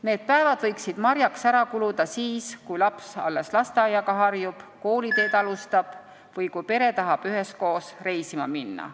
Need päevad võiksid marjaks ära kuluda siis, kui laps alles lasteaiaga harjub, kooliteed alustab või kui pere tahab üheskoos reisima minna.